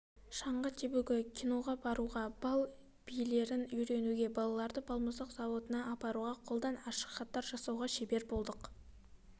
шаңғы тебуге кионаға баруға балл билерін үйренуге балаларды балмұздақ зауытына апаруға қолдан ашықхаттар жасауға шебер болдық